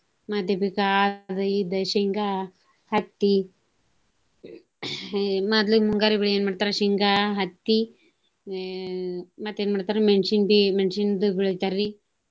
ಮತ್ತ ಆದ ಇದ ಶೇಂಗಾ, ಹತ್ತಿ ಮದ್ಲ ಮುಂಗಾರಿ ಬೆಳಿ ಏನ ಮಾಡ್ತಾರ ಶೇಂಗಾ, ಹತ್ತಿ, ಆ ಮತ್ತ ಏನ ಮಾಡ್ತಾರು ಮೆಣಸಿನ~ ಮೆಣಸಿನಂದ ಬೆಳಿತಾರಿ.